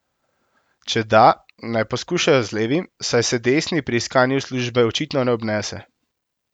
Če da, naj poskušajo z levim, saj se desni pri iskanju službe očitno ne obnese.